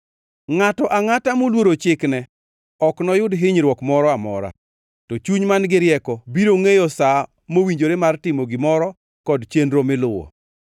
Ngʼato angʼata moluoro chikne ok noyud hinyruok moro amora, to chuny man-gi rieko biro ngʼeyo sa mowinjore mar timo gimoro kod chenro miluwo.